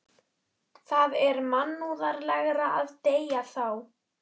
Það er mannúðlegra að deyða þá.